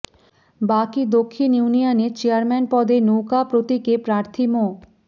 বাকই দক্ষিণ ইউনিয়নে চেয়ারম্যান পদে নৌকা প্রতীকে প্রার্থী মো